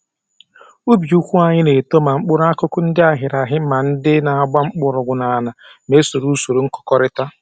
Ubi ikwu anyị na-eto ma mkpụrụakụkụ ndị aghịrịgha ma ndị na-agba mgbọrọgwụ n'ala ma e soro usoro nkụkọrịta